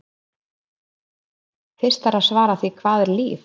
Fyrst þarf að svara því hvað er líf?